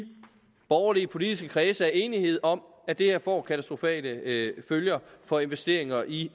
borgerlige politiske kredse er enighed om at det her får katastrofale følger for investeringer i